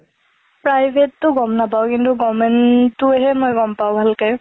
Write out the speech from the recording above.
private টো গম নাপাওঁ, কিন্তু government টোহে মই গম পাওঁ ভালকে।